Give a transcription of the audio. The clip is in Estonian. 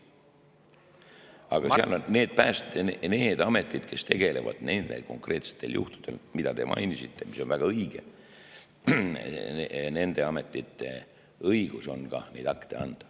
Aga nendel ametitel, kes tegelevad nende konkreetsete juhtudega, mida te mainisite – mis on väga õige –, on õigus ka neid akte anda.